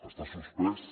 està suspès